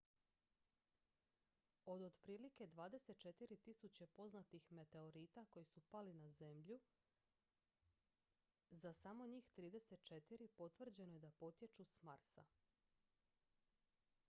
od otprilike 24.000 poznatih meteorita koji su pali na zemlju za samo njih 34 potvrđeno je da potječu s marsa